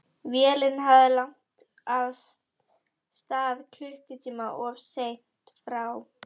Vélin hafði lagt að stað klukkutíma of seint frá